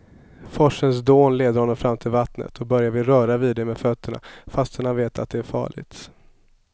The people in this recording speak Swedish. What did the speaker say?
Forsens dån leder honom fram till vattnet och Börje vill röra vid det med fötterna, fast han vet att det är farligt.